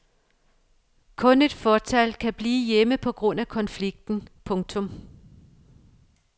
Kun et fåtal kan blive hjemme på grund af konflikten. punktum